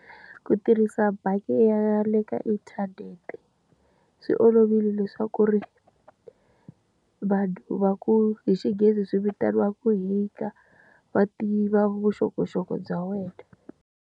Ku tirhisa bangi ya le ka inthanete, swi olovile leswaku ri vanhu va ku hi xinghezi swi vitaniwaku va tiva vuxokoxoko bya wena.